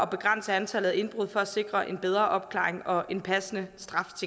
begrænse antallet af indbrud og for at sikre en bedre opklaring og en passende straf